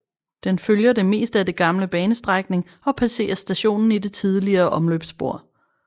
Den følger det meste af den gamle banestrækning og passerer stationen i det tidligere omløbsspor